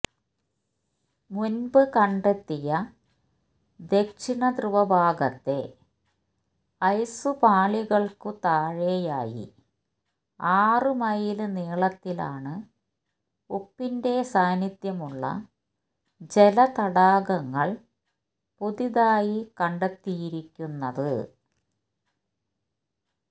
മുന്പ് കണ്ടെത്തിയ ദക്ഷിണധ്രുവ ഭാഗത്തെ ഐസ് പാളികള്ക്കു താഴെയായി ആറ് മൈല് നീളത്തിലാണ് ഉപ്പിന്റെ സാന്നിധ്യമുള്ള ജലതടാകങ്ങള് പുതിയതായി കണ്ടെത്തിയിരിക്കുന്നത്